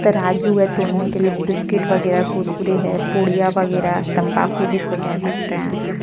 तराजू है तोलाने के लिए बिस्किट वगैरा कुरकुरे है पुड़िया वगैरा तंबाकू जिसको कह सकते हैं।